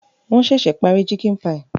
Wọ́n ṣẹ̀ṣẹ̀ parí chicken pie